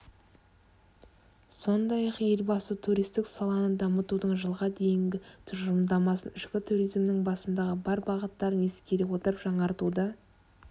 сондай-ақ елбасы туристік саланы дамытудың жылға дейінгі тұжырымдамасын ішкі туризмнің басымдығы бар бағыттарын ескере отырып жаңартуды